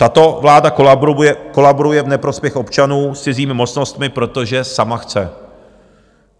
Tato vláda kolaboruje v neprospěch občanů s cizími mocnostmi, protože sama chce.